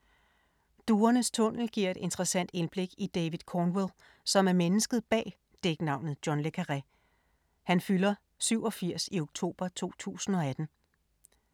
Duernes tunnel giver et interessant indblik i David Cornwell, som er mennesket bag dæknavnet John le Carré. Han fylder 87 i oktober 2018.